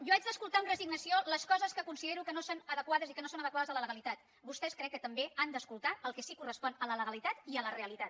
jo haig d’escoltar amb resignació les coses que considero que no són adequades i que no són adequades a la legalitat vostès crec que també han d’escoltar el que sí que correspon a la legalitat i a la realitat